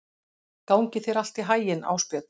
Gangi þér allt í haginn, Ásbjörn.